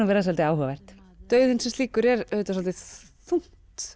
að vera svolítið áhugavert dauðinn sem slíkur er auðvitað svolítið þungt